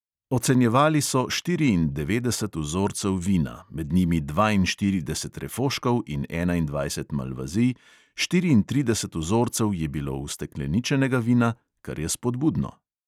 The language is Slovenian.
Ocenjevali so štiriindevetdeset vzorcev vina, med njimi dvainštirideset refoškov in enaindvajset malvazij, štiriintrideset vzorcev je bilo ustekleničenega vina, kar je spodbudno.